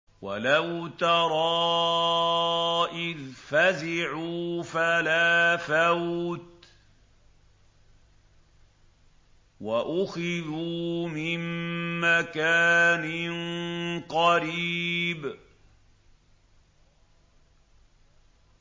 وَلَوْ تَرَىٰ إِذْ فَزِعُوا فَلَا فَوْتَ وَأُخِذُوا مِن مَّكَانٍ قَرِيبٍ